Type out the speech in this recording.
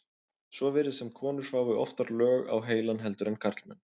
svo virðist sem konur fái oftar lög á heilann heldur en karlmenn